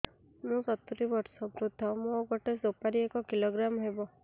ମୁଁ ସତୂରୀ ବର୍ଷ ବୃଦ୍ଧ ମୋ ଗୋଟେ ସୁପାରି ଏକ କିଲୋଗ୍ରାମ ହେବ